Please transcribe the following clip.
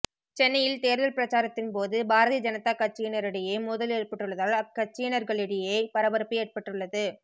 சென்னையில் தேர்தல் பிரச்சாரத்தின் போது பாரதிய ஜனதா கட்சியினரிடையே மோதல் ஏற்பட்டுள்ளதால் அக்கட்சியினர்களிடையே பரபரப்பு ஏற்பட்டுள்ளது